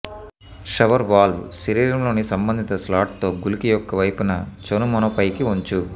shower valve శరీరంలోని సంబంధిత స్లాట్తో గుళిక యొక్క వైపున చనుమొనపైకి వంచు